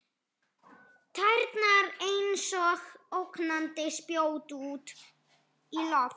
Tærnar einsog ógnandi spjót út í loftið.